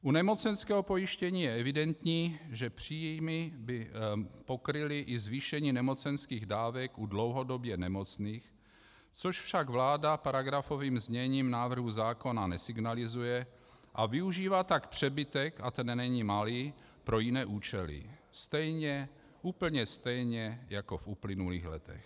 U nemocenského pojištění je evidentní, že příjmy by pokryly i zvýšení nemocenských dávek u dlouhodobě nemocných, což však vláda paragrafovým zněním návrhu zákona nesignalizuje, a využívá tak přebytek - a ten není malý - pro jiné účely stejně, úplně stejně jako v uplynulých letech.